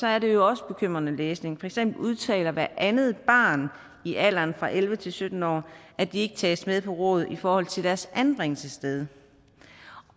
er det jo også bekymrende læsning for eksempel udtaler hvert andet barn i alderen fra elleve til sytten år at de ikke tages med på råd i forhold til deres anbringelsessted